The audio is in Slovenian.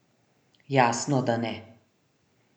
Jasno, da ne.